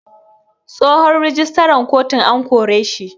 Tsohon rijistaran kotun an koreshi.